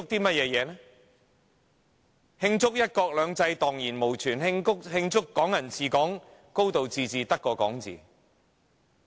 難道要慶祝"一國兩制"蕩然無存嗎？慶祝"港人治港"、"高度自治"只屬空談嗎？